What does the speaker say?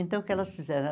Então, o que elas fizeram?